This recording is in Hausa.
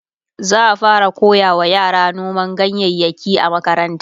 za'a fara koyawa yara noman ganyayaki a makaranta